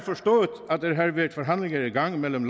været forhandlinger i gang mellem